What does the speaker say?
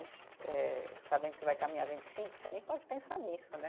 Eh, sabendo que você vai caminhar vinte e cinco, você nem pode pensar nisso, né?